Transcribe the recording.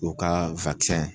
U ka